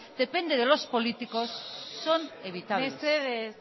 depende de los políticos son evitables mesedez